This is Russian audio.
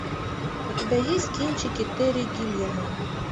у тебя есть кинчики терри гиллиама